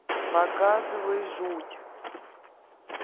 показывай жуть